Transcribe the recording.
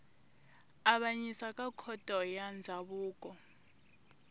avanyisa ka khoto ya ndzhavuko